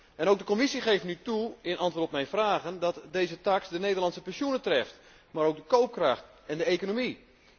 En ook de Commissie geeft nu toe in antwoord op mijn vragen dat deze taks de Nederlandse pensioenen treft, maar ook de koopkracht en de economie.